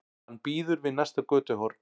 Hann bíður við næsta götuhorn.